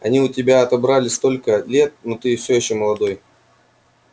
они у тебя отобрали столько лет но ты всё ещё молодой